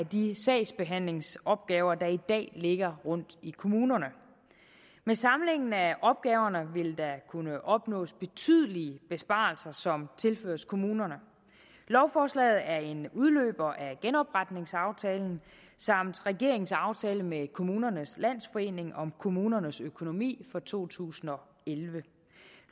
de sagsbehandlingsopgaver der i dag ligger rundt i kommunerne med samlingen af opgaverne vil der kunne opnås betydelige besparelser som tilføres kommunerne lovforslaget er en udløber af genopretningsaftalen samt regeringens aftale med kommunernes landsforening om kommunernes økonomi for to tusind og elleve